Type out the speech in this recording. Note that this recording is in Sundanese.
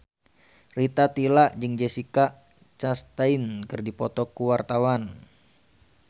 Rita Tila jeung Jessica Chastain keur dipoto ku wartawan